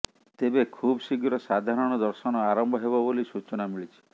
ତେବେ ଖୁବ ଶୀଘ୍ର ସାଧାରଣ ଦର୍ଶନ ଆରମ୍ଭ ହେବ ବୋଲି ସୂଚନା ମିଳିଛି